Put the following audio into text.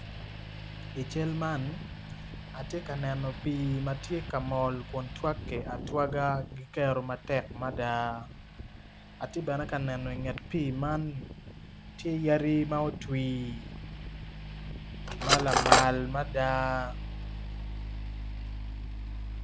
I cal man atye ka neno pii ma tye ka mol ma gitwagge atwaga gitye ka mol ki kero matek mada atyebene ka neno i nget pii man tye yadi ma otwi ma lamal mada.